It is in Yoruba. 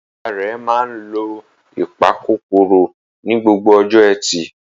Ìyá rẹ̀ máa ń lo ìpakòkòrò ní gbogbo ọjọ́ ẹtì.